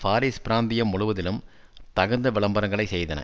Paris பிராந்தியம் முழுவதிலும் தகுந்த விளம்பரங்களை செய்தன